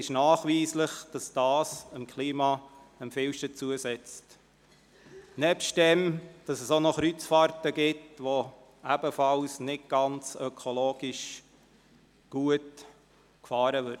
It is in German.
Nachweislich setzt dies dem Klima am meisten zu, nebst dem, dass es auch noch Kreuzfahrten gibt, die ebenfalls ökologisch nicht gut sind.